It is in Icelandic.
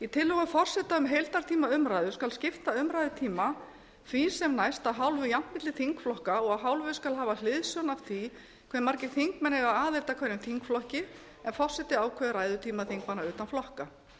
í tillögu forseta um heildartíma umræðu skal skipta umræðutíma því sem næst að hálfu jafnt milli þingflokka og að hálfu skal hafa hliðsjón af því hve margir þingmenn eiga aðild að hverjum þingflokki en forseti ákveður ræðutíma þingmanna utan flokka